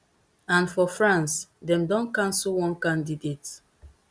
and for france dem don cancell one candidate